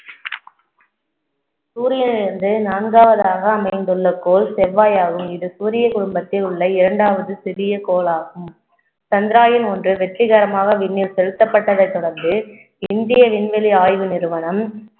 சூரியனிலிருந்து நான்காவதாக அமைந்துள்ள கோள் செவ்வாயாகும் இது சூரிய குடும்பத்தில் உள்ள இரண்டாவது சிறிய கோளாகும் சந்திரயான் ஒன்று வெற்றிகரமாக விண்ணில் செலுத்தப்பட்டதை தொடர்ந்து இந்திய விண்வெளி ஆய்வு நிறுவனம்